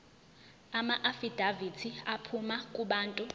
amaafidavithi aphuma kubantu